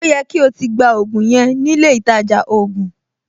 Ó yẹ kí o ti gba ògùn yẹn nílé ìtajà ògùn!